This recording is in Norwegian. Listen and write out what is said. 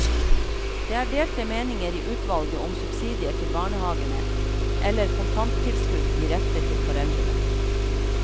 Det er delte meninger i utvalget om subsidier til barnehavene eller kontanttilskudd direkte til foreldrene.